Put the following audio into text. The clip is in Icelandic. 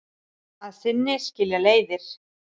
Að sinni skilja leiðir.